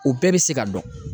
O bɛɛ bɛ se ka dɔn.